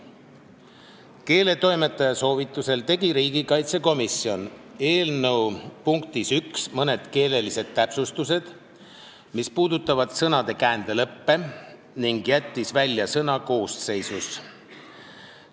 Keeletoimetaja soovitusel tegi riigikaitsekomisjon eelnõu punktis 1 mõned keelelised täpsustused, mis puudutavad sõnade käändelõppe, ning jättis välja sõna "koosseisus".